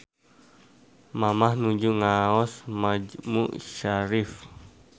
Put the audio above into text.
Mamah nuju ngaos majmu syarif